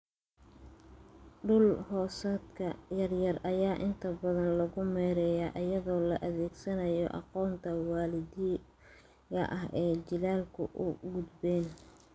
Dhul-hoosaadka yaryar ayaa inta badan lagu maareeyaa iyadoo la adeegsanayo aqoonta waddaniga ah ee jiilalku u gudbeen.